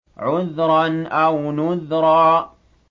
عُذْرًا أَوْ نُذْرًا